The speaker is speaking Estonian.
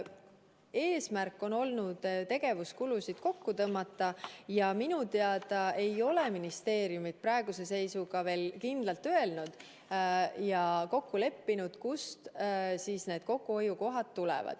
Eesmärk on olnud tegevuskulusid kokku tõmmata ja minu teada ei ole ministeeriumid praeguse seisuga veel kindlalt öelnud ja kokku leppinud, kus need kokkuhoiukohad on.